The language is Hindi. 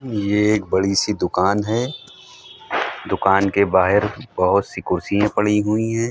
ये एक बड़ी-सी दुकान है। दुकान के बाहेर बहोत-सी कुर्सियें पड़ी हुई हैं।